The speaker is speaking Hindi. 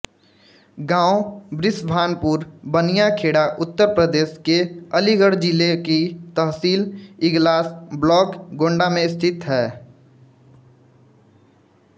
गांव बृषभानपुर बनियाखेड़ा उत्तरप्रदेश के अलीगढ़ जिले की तहसील इगलास ब्लॉक गोण्डा में स्थित है